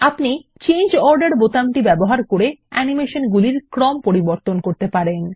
আপনি change order বোতাম ব্যবহার করে অ্যানিমেশন গুলির ক্রম পরিবর্তন করতে পারেন